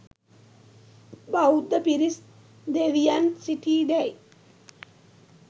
බෞද්ධ පිරිස් දෙවියන් සිටීදැයි